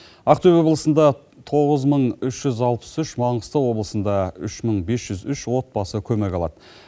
ақтөбе облысында тоғыз мың үш жүз алпыс үш маңғыстау облысында үш мың бес жүз үш отбасы көмек алады